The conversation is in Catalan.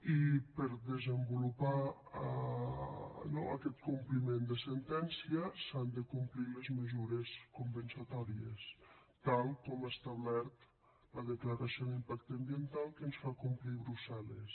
i per desenvolupar no aquest compliment de sentència s’han de complir les mesures compensatòries tal com ha establert la declaració d’impacte ambiental que ens fa complir brussel·les